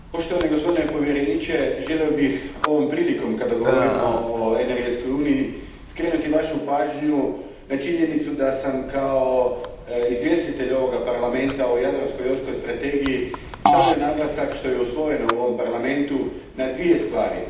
Gospodine predsjedniče, gospodine povjereniče, želio bih ovom prilikom kada govorimo o energetskoj uniji skrenuti vašu pažnju na činjenicu da sam kao izvjestitelj ovog Parlamenta o Jadransko jonskoj strategiji stavio naglasak, što je usvojeno u ovom Parlamentu, na dvije stvari.